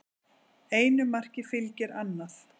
Einu marki fylgir annað